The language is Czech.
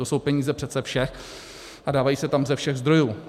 To jsou peníze přece všech a dávají se tam ze všech zdrojů.